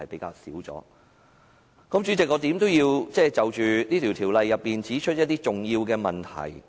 代理主席，無論如何我也要就修訂規則提出一些重要的問題。